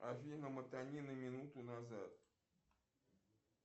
афина мотани на минуту назад